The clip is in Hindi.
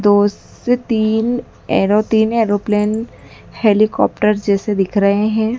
दो से तीन एरोतीन एरोप्लेन हेलीकॉप्टर जैसे दिख रहे हैं।